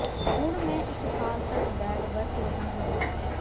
ਹੁਣ ਮੈਂ ਇਕ ਸਾਲ ਤਕ ਬੈਗ ਵਰਤ ਰਿਹਾ ਹਾਂ